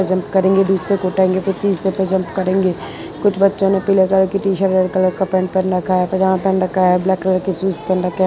Jump करेंगे दूसरे को उठाएंगे फिर तीसरे पे जंप करेंगे कुछ बच्चों ने पीले कलर कि टीशर्ट रेड कलर का पैंट पहन रखा है पजामा पहन रखा है ब्लैक कलर के शूज पहन रखे हैं।